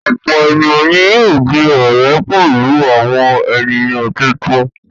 Ọ̀pọ̀ ènìyàn ni yóò di ọ̀rẹ́ pẹ̀lú àwọn ènìyàn tuntun.